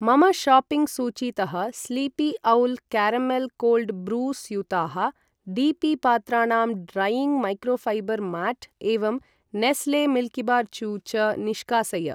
मम शाप्पिङ्ग् सूचीतः sleepy owl caramel cold brew स्यूताः, डी पी पात्राणां ड्रैयिङ्ग् मैक्रोफैबर् माट् एवं नेस्ले मिल्किबार चू च निष्कासय।